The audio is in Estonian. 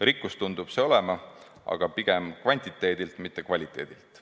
Rikkus tundub see olevat, aga pigem kvantiteedilt, mitte kvaliteedilt.